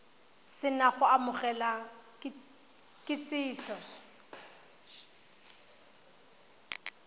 se na go amogela kitsiso